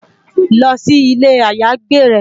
Lò si ilé àyágbé rè